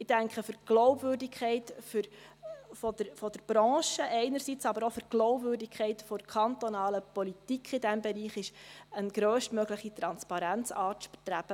Ich denke, für die Glaubwürdigkeit der Branche einerseits, aber andererseits auch für die Glaubwürdigkeit der kantonalen Politik in diesem Bereich, ist eine grösstmögliche Transparenz anzustreben.